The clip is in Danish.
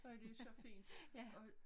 Og det så fint og